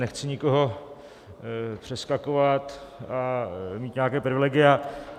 Nechci nikoho přeskakovat a mít nějaká privilegia.